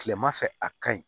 Kilema fɛ a ka ɲi